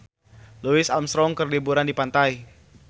Louis Armstrong keur liburan di pantai